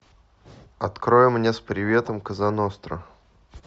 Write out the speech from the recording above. открой мне с приветом коза ностра